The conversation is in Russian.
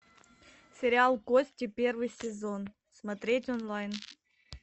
сериал кости первый сезон смотреть онлайн